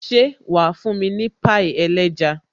Ṣé wà fún mi ní pie ẹlẹ́ja